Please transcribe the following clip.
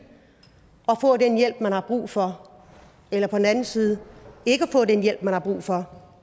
og få den hjælp man har brug for eller på den anden side ikke at få den hjælp man har brug for